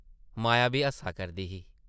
माया बी हस्सा करदी ही ।